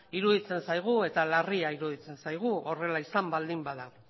iruditzen zaigu eta larria iruditzen zaigu horrela izan baldin bada